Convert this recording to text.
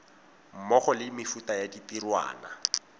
mmogo le mefuta ya ditirwana